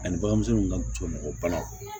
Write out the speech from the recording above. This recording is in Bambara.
Ani baganmisɛnnin ka cɔɲɔgɔn banaw